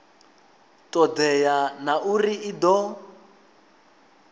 todea na uri i do